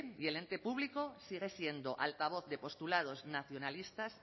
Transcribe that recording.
y el ente público sigue siendo altavoz de postulados nacionalistas